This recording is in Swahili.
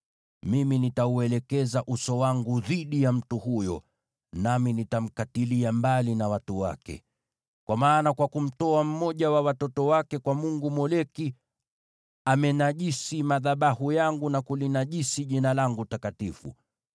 Mimi nitauelekeza uso wangu dhidi ya mtu huyo, nami nitamkatilia mbali na watu wake. Kwa maana kwa kumtoa mmoja wa watoto wake kwa mungu Moleki, amenajisi madhabahu yangu na kulinajisi Jina langu takatifu.